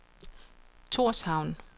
Torshavn